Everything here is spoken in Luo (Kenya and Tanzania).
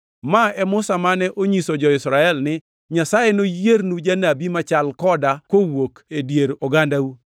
“Ma e Musa mane onyiso jo-Israel ni, ‘Nyasaye noyiernu janabi machal koda kowuok e dier ogandau.’ + 7:37 \+xt Rap 18:15\+xt*